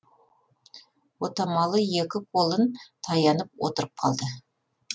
отамалы екі қолын таянып отырып қалды